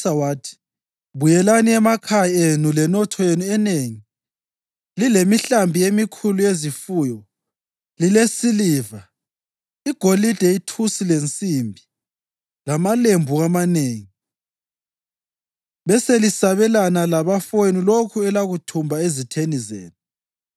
wathi, “Buyelani emakhaya enu lenotho yenu enengi, lilemihlambi emikhulu yezifuyo, lilesiliva, igolide ithusi lensimbi, lamalembu amanengi, beselisabelana labafowenu lokho elakuthumba ezitheni zenu.”